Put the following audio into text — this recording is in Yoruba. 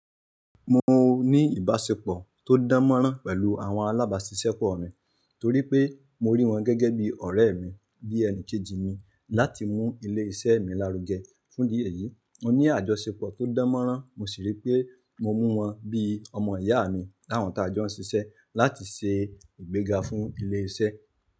Mo ní ìbáṣepọ̀ tó dánmọ́nrán pẹ̀lú àwọn alábáṣiṣẹ́pọ̀ mi torí pé mo rí wọn gẹ́gẹ́ bí ọ̀rẹ́ mi bí ẹni kejì mi láti mú ilé iṣẹ́ mi lárugẹ. Fún ìdí èyí, mo ní àjọṣepọ̀ tó dánmọ́nrán, mo sì rí pé mo mú wọn bí ọmọ ìyá mi láwọn tí a jọ ń ṣiṣẹ́ láti ṣe ìgbéga fún ilé iṣẹ́.